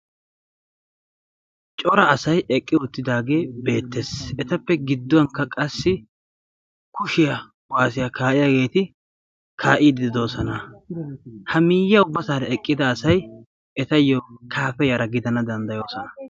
cora asay eqqi uttidaage beettees. etappe gidduwankka qassi kushiya kuwassiya kaa'iyaageeti kaa'ide de'oosona. ha miyye ubbasara eqqida asay etayyo kaafe yara giddana danddayoosona.